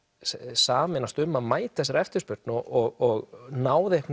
sameinast um að mæta þessari eftirspurn og náð